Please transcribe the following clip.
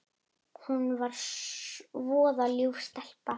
Hún er voða ljúf stelpa.